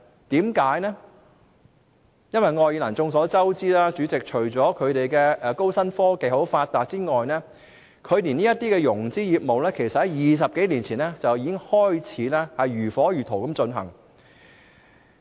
代理主席，眾所周知，愛爾蘭除了高新科技很發達外，這些融資業務其實在20多年前已經如火如荼地進行。